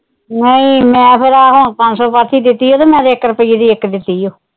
ਨਹੀਂ ਮੈਂ ਫ਼ਿਰ ਇਹ ਪੰਜ ਸੋ ਪਾਥੀ ਦਿੱਤੀ ਆ ਤੇ ਮੈਂ ਤਾਂ ਇੱਕ ਰੁਪਈਏ ਦੀ ਇੱਕ ਦਿੱਤੀ ਓ।